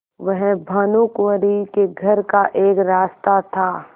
वह भानुकुँवरि के घर का एक रास्ता था